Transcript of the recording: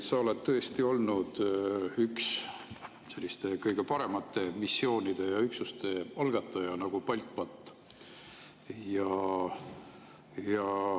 Sa oled tõesti olnud üks kõige paremate missioonide ja üksuste, näiteks BALTBAT‑i algataja.